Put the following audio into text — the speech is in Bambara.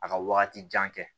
A ka wagati jan kɛ